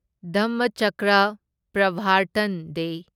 Dhammachakra Pravartan ꯗꯦ